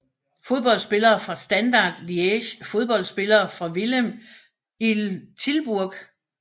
Fodboldspillere fra Standard Liège Fodboldspillere fra Willem II Tilburg